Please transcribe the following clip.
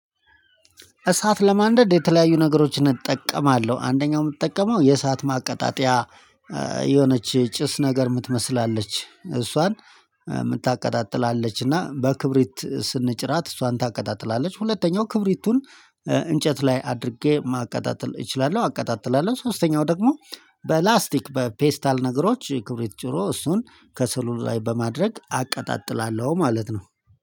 እሳት ለማንደድ የተለያዩ ነገሮችን እጠቀማለሁ አንደኛው የምትጠቀመው የእሳት ማቀጣጠያ የሆነች ጭስ ነገር የምትመስል አለች እሷን የምታቀጣጥል አለች እና በክብሪት ስንጭራት እሷን ታቀጣጥላለች። ሁለተኛው ክብሪቱን እንጨት ላይ አድርጌ ማቀጣጠል እችላለሁ። አቀጣጥላለሁ ሶስተኛው ደግሞ በላስቲክ በፔስታል ነገሮች ክብሪት ጭሮ እሱን ከሰሉ ላይ በማድረግ አቀጣጥላለሁ። ማለት ነው